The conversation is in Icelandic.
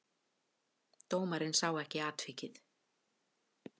Dómarinn sá ekki atvikið.